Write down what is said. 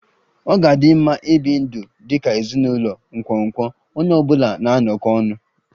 Ọ ga-adị mma ibi ndụ dị ka ezinụlọ nkwonkwo, onye ọ bụla na-anọkọ ọnụ